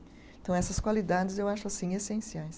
Então, essas qualidades eu acho, assim, essenciais.